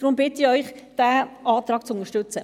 Deshalb bitte ich Sie, diesen Antrag zu unterstützen.